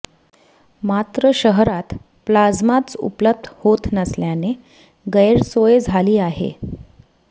मात्र शहरात प्लाझ्माच उपलब्ध होत नसल्याने गैरसोय झाली आहे